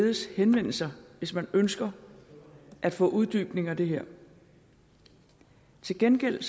bedes henvende sig hvis man ønsker at få en uddybning af det her til gengæld